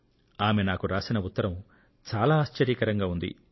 ఆవిడ నాకు రాసిన ఉత్తరం చాలా ఆశ్చర్యకరంగా ఉంది